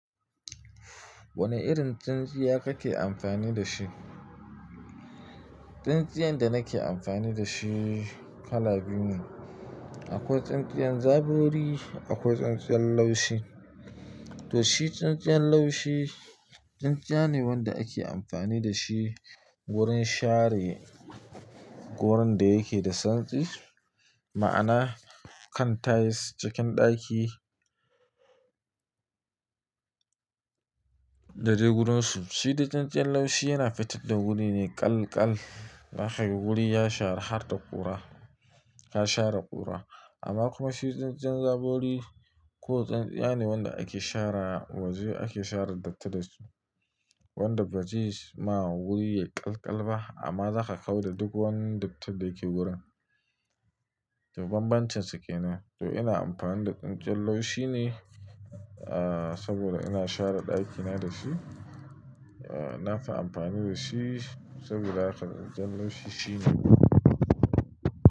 Wane irin tsintsiya kake amfani da shi? Tsintsiyan da nake amfani da shi kala biyu ne. Akwai tsintsiyan zabori, akwai tsintsiyan laushi. To shi tsintsiyan laushi, tsintsiya ne wanda ake amfani da shi wurin share wurin da yake da santsi. Ma'ana kan tiles cikin ɗaki da dai guransu. Shi dai tsintsiyan laushi yana fitar da wuri ne ƙallƙal. Zaka ga wuri ya share har da ƙura, ya share ƙura. Amma kuma shi tsintsiyan zabori ko tsintsiya ne wanda ake share waje ake share datti da shi. Wanda bazes ma wuri yayi ƙallƙal ba amma za ka hau da duk wani datti da yake wurin. To banbancinsu ke nan. To ina amfani da tsintsiyan laushi ne saboda ina share ɗakina da shi. Na fi amfani da shi saboda lafiyar tsintsiyan laushi shine.